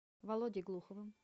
володей глуховым